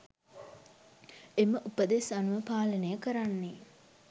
එම උපදෙස් අනුව පාලනය කරන්නේ